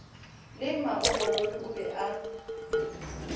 le magokolodi o be a